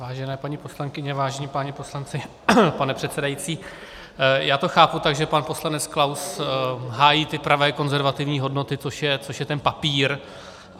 Vážené paní poslankyně, vážení páni poslanci, pane předsedající, já to chápu tak, že pan poslanec Klaus hájí ty pravé konzervativní hodnoty, což je ten papír.